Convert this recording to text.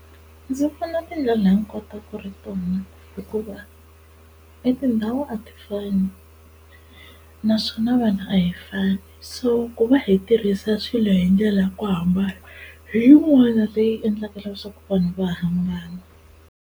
Ndzi vona tindlela hinkwato ku ri tona hikuva etindhawu a ti fani naswona vanhu a hi fani so ku va hi tirhisa swilo hi ndlela ya ku hambana hi yin'wana leyi endlaka leswaku vanhu va hambana.